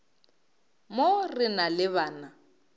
mo re na le bana